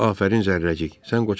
Afərin, Zərrəcik!